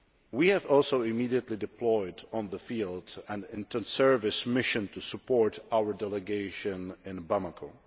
We have also immediately deployed in the field an inter service mission to support our delegation in Bamako.